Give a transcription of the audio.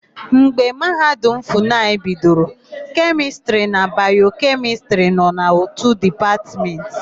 Mgbe Mahadum Funayịbidoro, Kemịstịrị na Bayokemịstịrị nọ n'ótù Dịpatmentị.